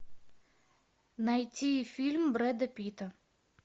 найти фильм брэда питта